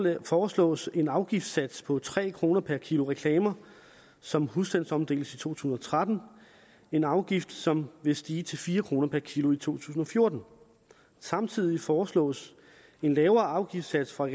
foreslås en afgiftssats på tre kroner per kilo reklamer som husstandsomdeles i to tusind og tretten en afgift som vil stige til fire kroner per kilo i to tusind og fjorten samtidig foreslås en lavere afgiftssats for